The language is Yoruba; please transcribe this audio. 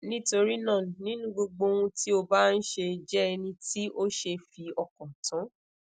nitorina ninu gbogbo ohun ti o ba nṣe jẹ eniti o se fi okan tan